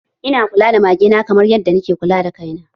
Ina kula da mage na kamar yadda na ke kula da kaina